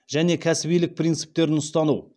және кәсібилік принциптерін ұстану